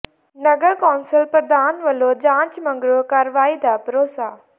ਨਗਰ council ਪ੍ਰਧਾਨ ਵੱਲੋਂ ਜਾਂਚ ਮਗਰੋਂ ਕਾਰਵਾਈ ਦਾ ਭਰੋਸਾ